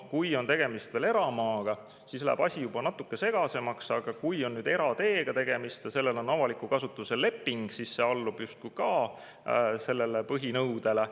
Kui on tegemist veel eramaaga, siis läheb asi juba natuke segasemaks, aga kui on tegemist erateega ja sellel on avaliku kasutuse leping, siis see allub justkui ka sellele põhinõudele.